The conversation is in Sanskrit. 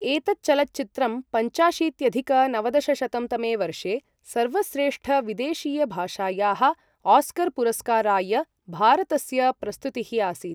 एतत् चलच्चित्रं पञ्चाशीत्यधिक नवदशशतं तमे वर्षे सर्वश्रेष्ठविदेशीयभाषायाः ऑस्कर् पुरस्काराय भारतस्य प्रस्तुतिः आसीत्।